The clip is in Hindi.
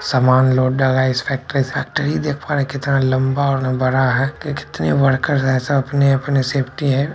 समान लोड हो रहा है इस फैक्ट्री फैक्ट्री देख पा रहे है कितना लंबा और बड़ा है की कितनी वोर्लेर्स है सब अपने-अपने सेफ्टी है।